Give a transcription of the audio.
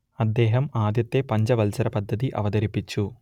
അദ്ദേഹം ആദ്യത്തെ പഞ്ചവത്സര പദ്ധതി അവതരിപ്പിച്ചു